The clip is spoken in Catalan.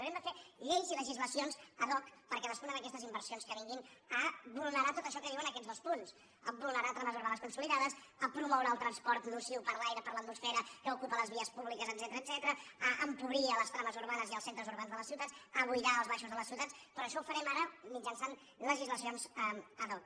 haurem de fer lleis i legislacions ad hoc per cadascuna d’aquestes inversions que vinguin a vulnerar tot això que diuen aquests dos punts a vulnerar trames urbanes consoli·dades a promoure el transport nociu per a l’aire per a l’atmosfera que ocupa les vies públiques etcètera a empobrir les trames urbanes i els centres urbans de les ciutats a buidar els baixos de les ciutats però això ho farem ara mitjançant legislacions ad hoc